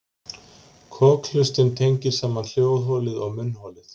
Kokhlustin tengir saman hljóðholið og munnholið.